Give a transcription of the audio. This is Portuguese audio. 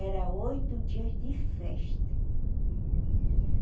Era oito dias de festa.